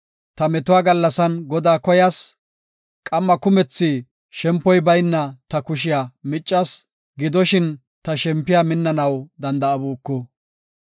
Ta metuwa gallasan Godaa koyas; qamma kumethi shempoy bayna ta kushiya miccas; gidoshin, ta shempiya minnanaw danda7abuku.